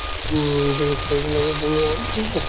উম beast